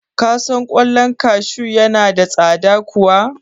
Ka san ƙwallon kashu ya yi tsada kuwa?